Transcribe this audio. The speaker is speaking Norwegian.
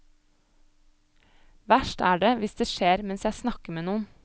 Verst er det hvis det skjer mens jeg snakker med noen.